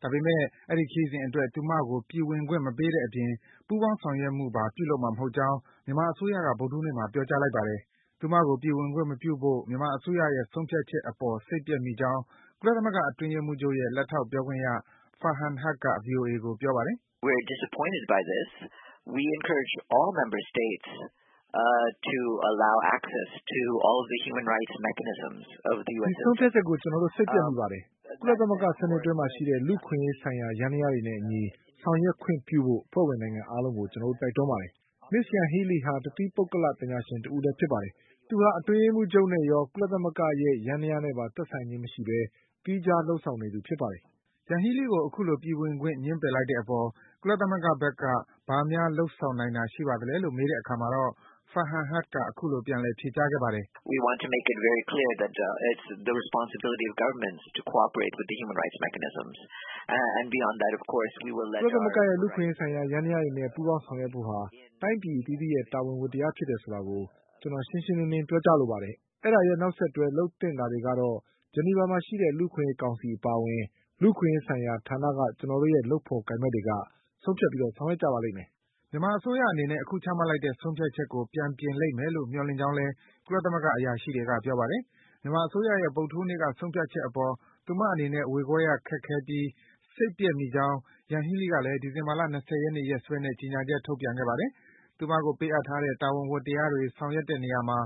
။ ဒါပေမယ့် အဲဒီခရီးစဉ်အတွက် သူမကို ပြည်ဝင်ခွင့် မပေးတဲ့အပြင် ပူးပေါင်းဆောင်ရွက်မှုပါ ပြုလုပ်မှာ မဟုတ်ကြောင်း မြန်မာအစိုးရက ကုလသမဂ္ဂကို ပေးပို့တဲ့ စာထဲမှာ ဖေါ်ပြထားပါတယ်။ သူမကို ပြည်ဝင်ခွင့်မပြုဖို့ မြန်မာအစိုးရရဲ့ ဆုံးဖြတ်ချက်အပေါ် စိတ်ပျက်မိကြောင်း ကုလ သမဂ္ဂ အတွင်းရေးမှူးချုပ်ရဲ့ လက်ထောက် ပြောခွင့်ရ Farhan Haq က ဗွီအိုအေကို ပြောပါတယ်။ “ဒီဆုံးဖြတ်ချက်အပေါ် ကျနော်တို့ စိတ်ပျက်မိပါတယ်။ ကုလသမဂ္ဂ စံနစ်အတွင်းမှာရှိတဲ့ လူ့အခွင့်ရေးဆိုင်ရာ ယန္တရားတွေအညီ ဆောင်ရွက်ခွင့်ပြုဖို့ အဖွဲ့ဝင် နိုင်ငံအားလုံးကို ကျနော်တို့ တိုက်တွန်းပါတယ်။ Ms. Yanghee Lee ဟာ တသီးပုဂ္ဂလ ပညာရှင်တဦးဖြစ် ပါတယ်။ သူမဟာ အတွင်းရေးမှူးချုပ်နဲ့ ရော၊ ကုလသမဂ္ဂရဲ့ ယန္တရားနဲ့ပါ သက်ဆိုင်ခြင်း မရှိဘဲ သီးခြား လုပ်ဆောင်နေသူ ဖြစ်ပါတယ်။” Yanghee Lee ကို အခုလို ပြည်ဝင်ခွင့် ငြင်းပယ်လိုက်တဲ့အပေါ် ကုလသမဂ္ဂဘက်က ဘာများ လုပ်ဆောင်နိုင်တာ ရှိပါသလဲလို့ မေးတဲ့အခါမှာတော့ Farhan Haq က အခုလို ပြန်လည် ဖြေကြားခဲ့ပါတယ်။ “ကုလသမဂ္ဂရဲ့ လူ့အခွင့်အရေး ယန္တရားတွေနဲ့ ပူးပေါင်းဆောင်ရွက်ဖို့ဟာ တိုင်းပြည် အသီးသီးရဲ့ တာဝန်၊ ဝတ္တရားဖြစ်တယ်ဆိုတာကို ကျနော်တို့ ရှင်းလင်းစွာ ပြောကြား လိုပါ တယ်။ အဲဒီရဲ့ နောက်ဆက်တွဲ လုပ်သင့်တာတွေကတော့ ဂျနီဗာမှာရှိတဲ့ လူ့အခွင့်အရေး ကောင်စီ အပါအဝင် လူ့အခွင့်အရေး ဆိုင်ရာဌာနက ကျနော်တို့ရဲ့ လုပ်ဖော်ကိုင်ဘက် တွေက ဆုံးဖြတ် ဆောင်ရွက်ကြပါလိမ့်မယ်။” မြန်မာအစိုးရအနေနဲ့ အခုချမှတ်လိုက်တဲ့ ဆုံးဖြတ်ချက်ကို ပြန်ပြင်လိမ့်မယ်လို့ မျှော်လင့်ကြောင်းလည်း ကုလသမဂ္ဂက အရာရှိတွေက ပြောပါတယ်။ မြန်မာအစိုးရရဲ့ ဆုံးဖြတ်ချက်အပေါ် သူမအနေနဲ့ ဝေခွဲရခက်ပြီး စိတ်ပျက် မိကြောင်း Yanghee Lee ကလည်း ဒီဇင်ဘာ ၂၀ ရက်နေ့ ရက်စွဲနဲ့ ကြေညာချက် ထုတ်ပြန် ခဲ့ပါတယ်။ သူမကို ပေးအပ်ထားတဲ့ တာဝန်ဝတ္တရားတွေ ဆောင်ရွက်တဲ့နေရာမှာ